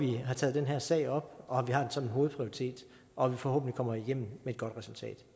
vi har taget den her sag op og har en sådan hovedprioritet og at vi forhåbentlig kommer igennem med et godt resultat